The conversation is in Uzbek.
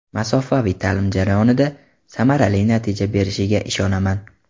masofaviy taʼlim jarayonida samarali natija berishiga ishonaman.